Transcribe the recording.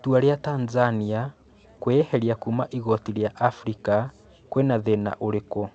Itua ria Tanzania kwĩeherĩa kuuma igoti rĩa Abirika kwĩna thĩna ũrĩkũ?